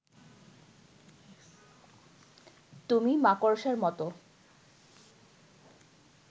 তুমি মাকড়সার মতো